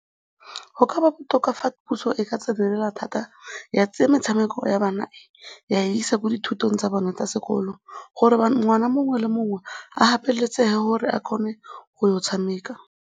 Go ka ba botoka fa puso e ka tsenelela thata ya tsaya metshameko ya bana ya e isa kwa dithutong tsa bone tsa sekolo gore ngwana mongwe le mongwe a gapeletsege gore a kgone go ya go tshameka.